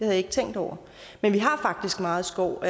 jeg ikke tænkt over men vi har faktisk meget skov